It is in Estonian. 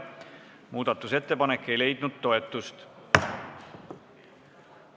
Muudatusettepanek ei leidnud toetust.